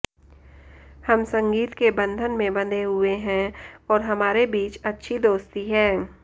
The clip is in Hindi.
हम संगीत के बंधन में बंधे हुए हैं और हमारे बीच अच्छी दोस्ती है